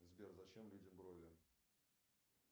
сбер зачем людям брови